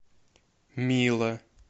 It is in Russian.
мило